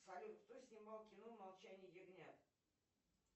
салют кто снимал кино молчание ягнят